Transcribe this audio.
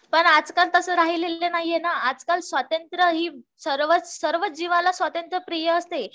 पण आजकाल तसं राहिलेलं नाही ये ना आजकाल स्वातंत्र हि सर्व सर्वच जीवाला स्वातंत्र प्रिय असते